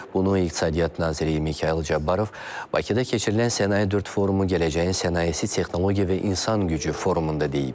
Bunu İqtisadiyyat naziri Mikayıl Cabbarov Bakıda keçirilən Sənaye 4 forumu Gələcəyin Sənayesi Texnologiya və İnsan Gücü forumunda deyib.